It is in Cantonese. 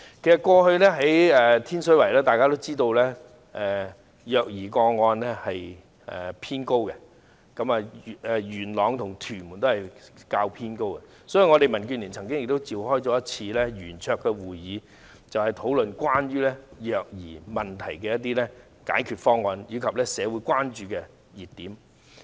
其實大家也知道，過去天水圍、元朗和屯門的虐兒個案偏高，所以民主建港協進聯盟曾召開圓桌會議，討論關於虐兒問題的解決方案，以及社會的關注點。